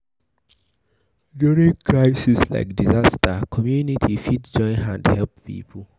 During crisis like disaster, community fit join hand help pipo